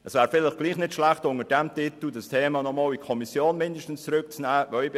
Es wäre vielleicht doch nicht schlecht, das Thema unter diesem Titel nochmals in die Kommission zurückzunehmen.